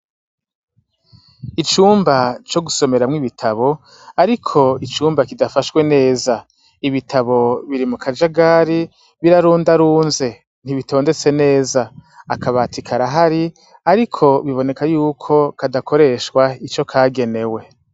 Icumba co gusomeramwo ibitabo, ariko icumba kidafashwe neza ibitabo biri mu kajagari birarundarunze ntibitondetse neza akabati karahari, ariko biboneka yuko kadakoreshwa ico kagenewe.